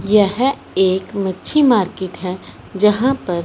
यह एक मच्छी मार्केट है जहां पर --